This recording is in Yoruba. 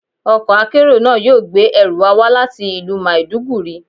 Ọkọ̀ akérò náà yóò gbé ẹrù wa wá láti ìlú Maiduguri.